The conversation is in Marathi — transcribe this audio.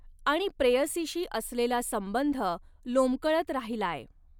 आणि प्रेयसीशी असलेला संबंध लोंबकळत राहिलाय